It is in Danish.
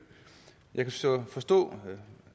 jeg kan så forstå det